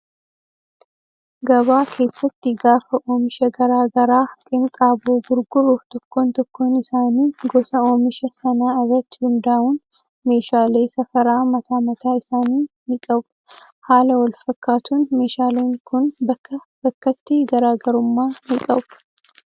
Gabaa keessatti gaafa oomisha garagaraa qenxaboo gurgurru tokkon tokkoon isaanii gosa oomisha sanaa irratti hundaa'uun meeshaalee safaraa mataa mataa isaanii ni qabu. Haala wal fakkaatuun meeshaaleen kun bakkaa bakkatti garaagarummaa ni qabu.